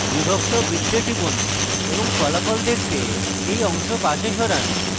বিভক্ত বৃত্তে টিপুন এবং ফলাফল দেখতে এই অংশ পাশে সরান